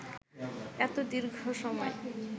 এত দীর্ঘ সময়